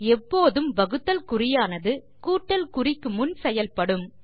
எப்போதும் வகுத்தல் குறியானது கூட்டல் குறிக்கு முன் செயல்படும்